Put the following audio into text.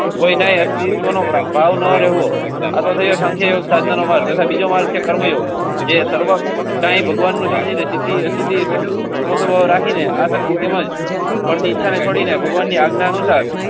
કોઈ ના એ સી One-Hundred નો. આતો સંખ્યા યોગસાધના. ટાઈ ભગવાનને સમજી નથી. ને ભગવાનની આજ્ઞાનુસાર.